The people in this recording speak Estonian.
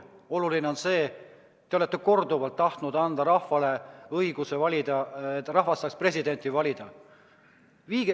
Oluline on see, et te olete korduvalt tahtnud anda rahvale õiguse, et rahvas saaks presidenti valida.